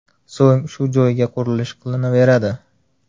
So‘ng shu joyga qurilish qilinaveradi.